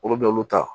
Olu bɛ olu ta